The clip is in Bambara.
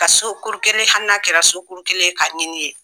Ka so kuru kelen hali n'a kɛra so kuru kelen ka ɲini ye.